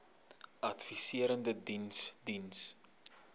adviserende diens diens